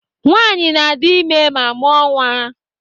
Nwanyị na-adị ime ma mụọ nwa.